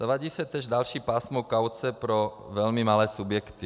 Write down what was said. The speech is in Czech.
Zavádí se též další pásmo kauce pro velmi malé subjekty.